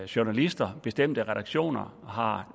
journalister bestemte redaktioner har